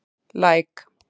Læk